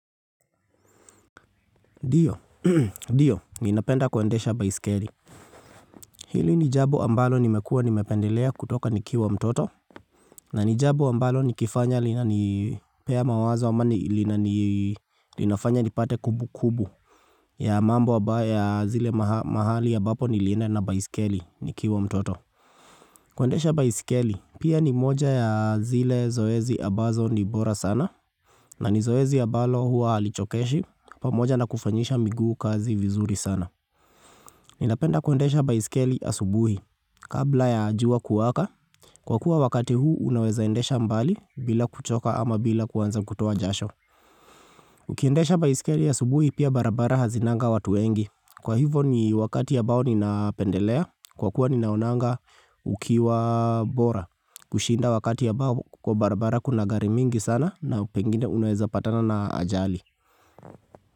Ndio, ndio, ninapenda kuendesha baisikeli Hili ni jambo ambalo nimekuwa nimependelea kutoka nikiwa mtoto na nijambo ambalo nikifanya linanipea mawazo ama ni linafanya nipate kumbukumbu ya mambo ambayo ya zile mahali ambapo nilienda na baisikeli nikiwa mtoto Kwendesha baisikeli, pia ni moja ya zile zoezi ambazo ni bora sana na ni zoezi ambalo huwa halichokeshi, pamoja na kufanyisha miguu kazi vizuri sana Ninapenda kuendesha baisikeli asubuhi. Kabla ya jua kuwaka, kwa kuwa wakati huu unawezaendesha mbali bila kuchoka ama bila kuwanza kutoa jasho. Ukiendesha baisikeli asubuhi pia barabara hazinanga watu wengi. Kwa hivyo ni wakati ambao ninapendelea, kwa kuwa ninaonanga ukiwa bora. Kushinda wakati ambao kwa barabara kuna gari mingi sana na pengine unaweza patana na ajali.